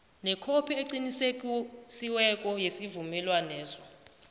nekhophi eqinisekisiweko yesivumelwaneso